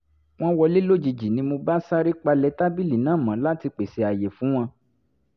wọ́n wọlé lójijì ni mo bá sáré palẹ̀ tábìlì náà mọ́ láti pèsè àyè fún wọn